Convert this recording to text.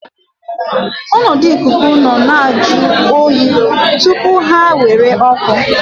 Ọnọdụ ikuku nọ na-ajụ oyi tupu ha nwere oku.